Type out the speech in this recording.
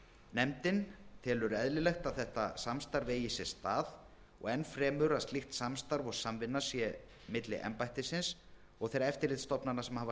nefndin telur eðlilegt að þetta samstarf eigi sér stað og enn fremur að slíkt samstarf og samvinna sé milli embættisins og þeirra eftirlitsstofnana sem hafa